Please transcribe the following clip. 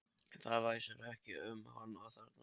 Það væsir ekki um hann þarna.